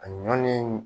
A ɲɔni